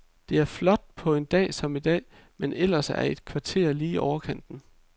Det er flot på en dag som i dag, men ellers er et kvarter lidt i overkanten.